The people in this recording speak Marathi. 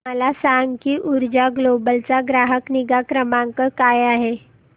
मला सांग की ऊर्जा ग्लोबल चा ग्राहक निगा क्रमांक काय आहे